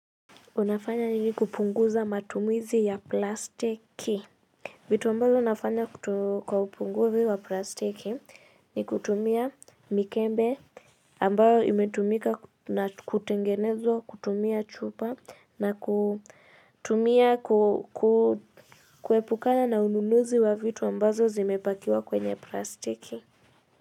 Unafanya nini kupunguza matumizi ya plastiki. Vitu ambavyo nafanya kutu kwa upunguzi wa plastiki ni kutumia mikembe ambayo imetumika na kutengenezwa, kutumia chupa na kutumia kuepukana na ununuzi wa vitu ambazo zimepakiwa kwenye plastiki.